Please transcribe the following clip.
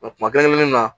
Wa kuma kelen kelennu na